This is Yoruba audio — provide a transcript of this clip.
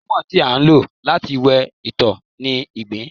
lẹmọọn, ti a lo lati wẹ itọ ni igbin.